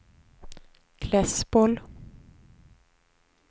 Klässbol